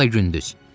Ya da gündüz.